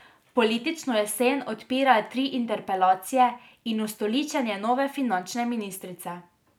Politično jesen odpirajo tri interpelacije in ustoličenje nove finančne ministrice.